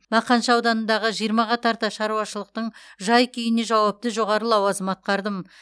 мақаншы ауданындағы жиырмаға тарта шаруашылықтың жай күйіне жауапты жоғары лауазым атқардым